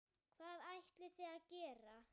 Hvað ætlið þið að gera?